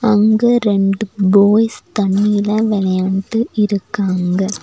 அங்க ரெண்டு பாய்ஸ் தண்ணில வெளையாண்டு இருக்காங்க.